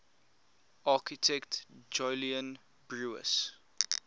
architect jolyon brewis